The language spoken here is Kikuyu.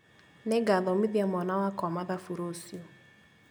Nĩngathomithia mwana wakwa mathabu rũciũ